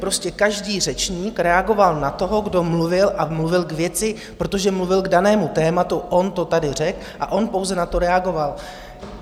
Prostě každý řečník reagoval na toho, kdo mluvil, a mluvil k věci, protože mluvil k danému tématu, on to tady řekl a on pouze na to reagoval.